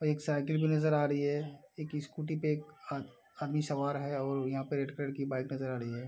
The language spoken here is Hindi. एक साइकिल भी नजर आ रही है एक स्कूटी पे अ अ आदमी सवार है और यहाँ पर रेड कलर की बाइक नजर आ रही है।